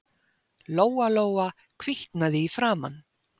Lóa-Lóa hvítnaði í framan.